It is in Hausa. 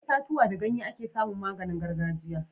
Daga itatuwa da ganye ake samun maganin gargajiya